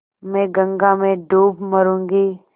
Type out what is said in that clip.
मैं गंगा में डूब मरुँगी